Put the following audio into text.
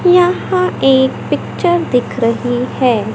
यह एक पिक्चर दिख रही है।